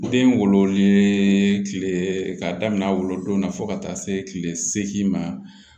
Den wololen kile k'a daminɛ wolodon na fo ka taa se kile seegin ma